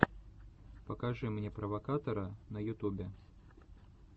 покажи мне провокатора на ютубе